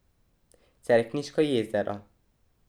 Cerkniško jezero.